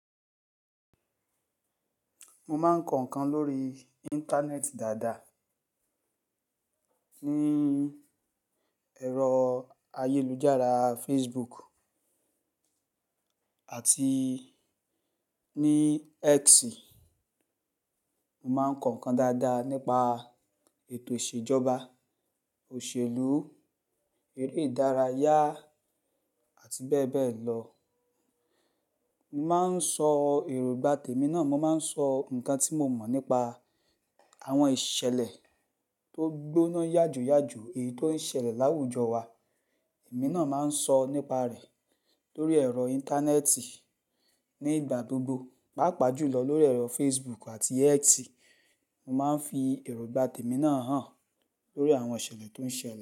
Mo máa ń kọ̀ inkan lórí Íńtánẹ́ẹ̀tì dáadáa. Ní ẹ̀rọ ayélujára Facebook àti ní X. Mo máa ń kọ̀ inkan dáadáa nípa ètò ìṣèjọba, òṣèlú, eré ìdárayá àti bẹ́ẹ̀ bẹ́ẹ̀ lọ. Mo máa ń sọ èrógbà tèmi náà, mo máa ń sọ nǹkan tí mo mọ̀ nípa àwọn ìṣẹ̀lẹ̀ tó gbóná yàjóyàjó, èyí tó ń ṣẹlẹ̀ láwùjọ wa. Ẹ̀mí náà máa ń sọ nípa rẹ̀ lórí ẹ̀rọ Íńtánéẹ̀tì ní ìgbà gbogbo, pàápàá jùlọ lórí ẹ̀rọ Facebook àti X. Mo máa ń fi èróngbà tèmi náà hàn lórí àwọn ìṣẹ̀lẹ̀ tó ń ṣẹlẹ̀